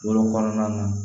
Wolon kɔnɔna na